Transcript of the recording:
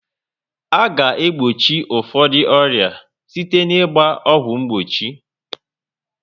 A ga egbochi ụfọdụ ọrịa site na ịgba ọgwụ mgbochi